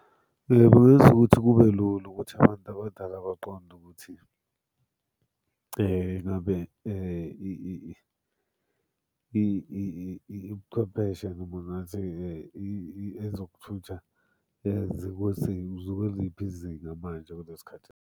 Kungenza ukuthi kube lula ukuthi abantu abadala baqonde ukuthi ngabe ubuchwepheshe noma ngathi ezokuthutha zikuliphi izinga manje, kulesi khathi.